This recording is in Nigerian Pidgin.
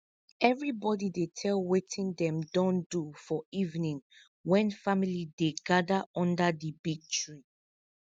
everibodi dey tell wetin dem don do for evening when family dem gather under di big tree